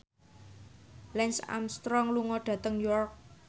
Lance Armstrong lunga dhateng York